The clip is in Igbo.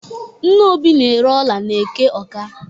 Nne Obi na-ere ọla n'eke Ọ́ká.